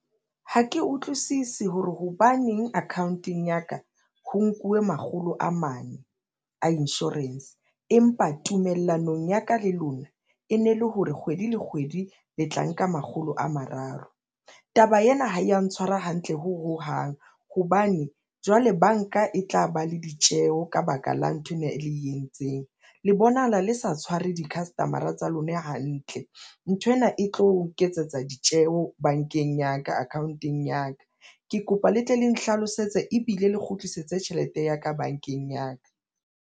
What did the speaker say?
Ha ke utlwisisi hore hobaneng account-eng ya ka ho nkuwe makgolo a mane a insurance. Empa tumellanong ya ka le lona e ne le hore kgwedi le kgwedi le tla nka makgolo a mararo. Taba ena ha ya ntshwara hantle hohang hobane jwale banka e tla ba le ditjeho ka baka la nthwena e le entseng, le bonahala le sa tshware di-customer-a tsa lona hantle. Nthwena e tlo iketsetsa ditjeho bankeng ya ka account-eng ya ka. Ke kopa le tle le nhlalosetse ebile le kgutlisetse tjhelete ya ka bankeng ya ka.